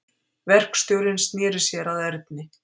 Verkstjórinn sneri sér að Erni.